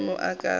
maemo a ka ga a